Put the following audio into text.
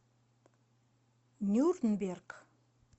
нюрнберг